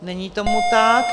Není tomu tak.